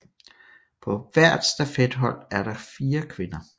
På hvert stafethold er der fire kvinder